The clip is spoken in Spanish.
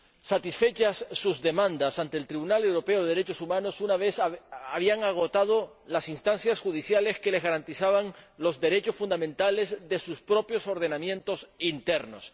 satisfechas sus demandas ante el Tribunal Europeo de Derechos Humanos, cuando habían agotado las instancias judiciales que les garantizaban los derechos fundamentales de sus propios ordenamientos internos.